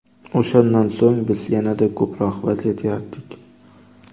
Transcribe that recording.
O‘shandan so‘ng biz yanada ko‘proq vaziyat yaratdik.